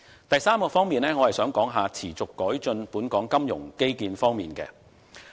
第三方面，我想說一說持續改進本港金融基建方面。